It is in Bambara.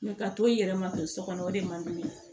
ka to i yɛrɛ ma ten so kɔnɔ o de man di ne ye